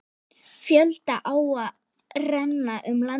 Fjölda áa renna um landið.